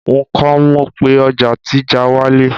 nko mọ pé ọja ti já walẹ